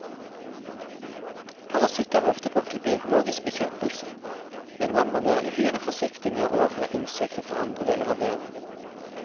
Parasitter er ofte brukt til biologisk bekjempelse, men man må være uhyre forsiktig med å overføre insekter fra andre deler av verden.